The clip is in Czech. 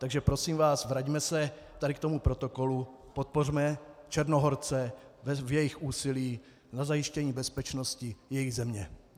Takže prosím vás, vraťme se tady k tomu protokolu, podpořme Černohorce v jejich úsilí na zajištění bezpečnosti své země.